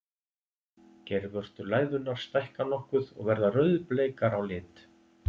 Geirvörtur læðunnar stækka nokkuð og verða rauðbleikar á lit.